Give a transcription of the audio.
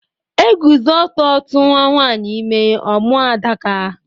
Eguzo ọtọ tuwa nwanyị ime, ọ mụọ Adaka